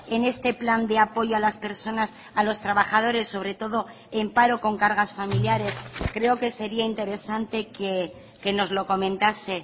en este plan de apoyo a las personas a los trabajadores sobre todo en paro con cargas familiares creo que sería interesante que nos lo comentase